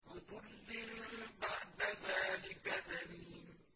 عُتُلٍّ بَعْدَ ذَٰلِكَ زَنِيمٍ